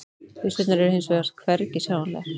Byssurnar eru hins vegar hvergi sjáanlegar